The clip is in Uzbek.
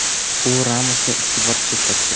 U Ramosni ikki bor chetlatgan.